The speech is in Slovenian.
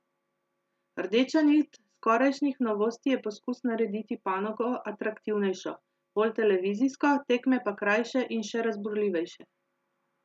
Rdeča nit skorajšnjih novosti je poskus narediti panogo atraktivnejšo, bolj televizijsko, tekme pa krajše in še razburljivejše.